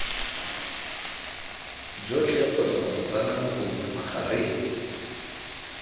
jotlhe kgotsa botsalano bongwe magareng